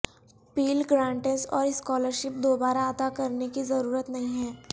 Pell grants اور scholarship دوبارہ ادا کرنے کی ضرورت نہیں ہے